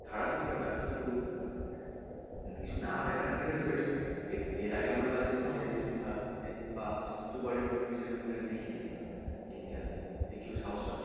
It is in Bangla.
খারাপ থেকে থেকে তো আসতে আসতে উঠবে না কিছু না দেখার থেকে তো better এর আগে বাজে cinema দেখছি বা super hero movie সেরকম কিছু দেখিনি আমরা India তে তাই কেউ সাহস পাচ্ছিলো না